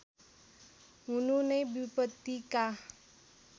हुनु नै विपत्तिका